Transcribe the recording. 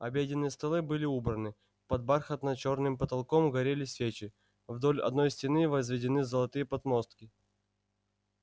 обеденные столы были убраны под бархатно-чёрным потолком горели свечи вдоль одной стены возведены золотые подмостки